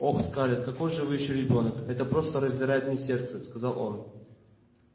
ох скарлетт какой же вы ещё ребёнок это просто раздирает мне сердце сказал он